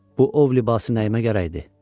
Bu ov libası nəyimə gərək idi?